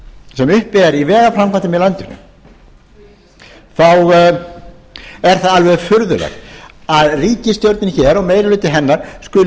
sem upp er í vegaframkvæmdum í landinu þá er það alveg furðulegt að ríkisstjórnin hér og meiri hluti hennar skuli